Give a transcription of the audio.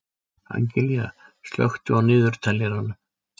Angelía, slökktu á niðurteljaranum.